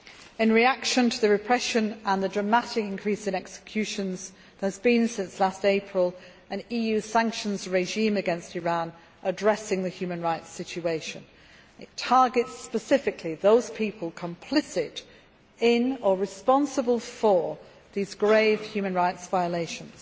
In reaction to the repression and the dramatic increase in executions there has been since April 2011 an EU sanctions regime against Iran addressing the human rights situation. It targets specifically those people complicit in or responsible for these grave human rights violations